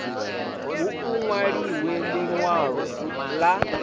hu u nwaliwe linwalo la